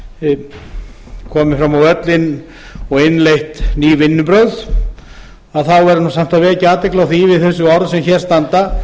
komið fram á völlinn og innleitt ný vinnubrögð þá verður nú samt að vekja athygli á því við þessi orð sem hér standa